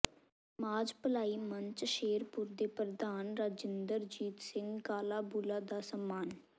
ਸਮਾਜ ਭਲਾਈ ਮੰਚ ਸ਼ੇਰਪੁਰ ਦੇ ਪ੍ਰਧਾਨ ਰਾਜਿੰਦਰਜੀਤ ਸਿੰਘ ਕਾਲਾਬੂਲਾ ਦਾ ਸਨਮਾਨ